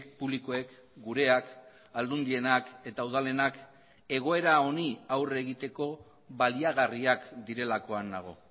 publikoek gureak aldundienak eta udalenak egoera honi aurre egiteko baliagarriak direlakoan nago